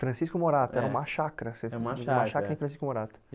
Francisco Morato é, era uma chácara, é uma chácara você morava numa chácara em Francisco Morato.